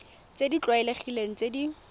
tse di tlwaelegileng tse di